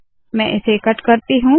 मैं इसे कट करती हूँ